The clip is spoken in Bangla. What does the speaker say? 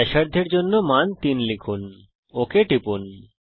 ব্যাসার্ধের জন্য মান 3 টিপুন ওক টিপুন